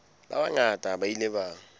ba bangata ba ile ba